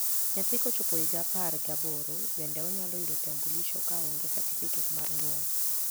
nyathi kochop higa apar gi aboro bende onyalo yudo kitambulisho ka onge satifiket mar nyuol